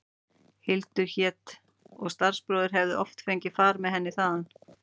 Hildur hét og starfsbróðir hefði oft fengið far með henni þaðan.